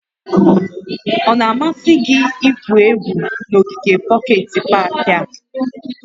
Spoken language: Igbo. Ọ na-amasị gị igwu egwu n'ogige pọket pak a?